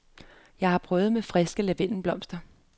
Jeg har prøvet med friske lavendelblomster.